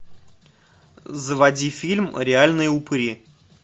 заводи фильм реальные упыри